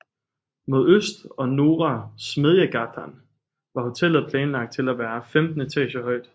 Mod øst og Norra Smedjegatan var hotellet planlagt til at være 15 etager højt